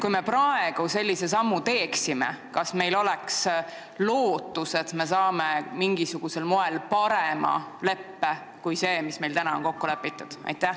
Kui me praegu sellise sammu teeksime, kas meil oleks lootust, et me saame mingisugusel moel parema leppe kui see, mis meil on kokku lepitud?